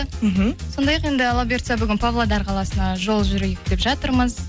мхм сондай ақ енді алла бұйыртса бүгін павлодар қаласына жол жүрейік деп жатырмыз